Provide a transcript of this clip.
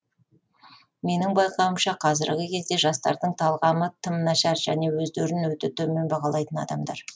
менің байқауымша қазіргі кезде жастардың талғамы тым нашар және өздерін өте төмен бағалайтын адамдар